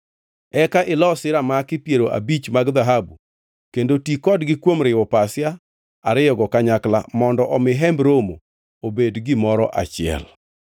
Eka ilosi ramaki piero abich mag dhahabu kendo ti kodgi kuom riwo pasia ariyogo kanyakla mondo omi Hemb Romo obed gimoro achiel.